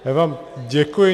Já vám děkuji.